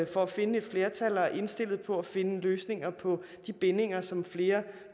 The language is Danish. for at finde et flertal og er indstillet på at finde løsninger på de bindinger som flere